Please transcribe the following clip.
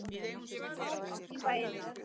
Hafnarfjarðarbæjar um lögn hitaveitu í bæinn.